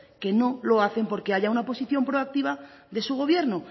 que no lo hacen porque haya una posición proactiva de su gobierno